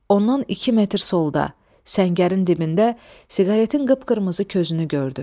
Ondan iki metr solda, səngərin dibində siqaretin qıpqırmızı közünü gördü.